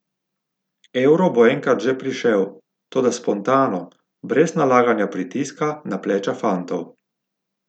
Euro bo enkrat že prišel, toda spontano, brez nalaganja pritiska na pleča fantov.